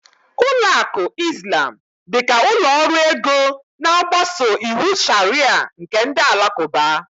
Ụlọ akụ Izlam dịka ụlọ ọrụ ego na-agbaso iwu Sharịa nke ndị Alakụba